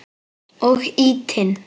Og ýtinn.